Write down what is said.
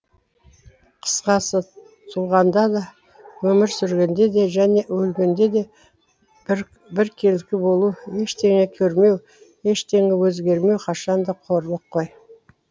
қысқасы туғанда да өмір сүргенде де және өлгенде де біркелкі болу ештеңе көрмеу ештеңе өзгермеу қашанда қорлық қой